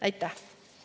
Aitäh!